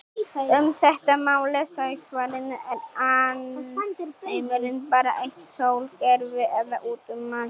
Um þetta má lesa í svarinu Er alheimurinn bara eitt sólkerfi eða út um allt?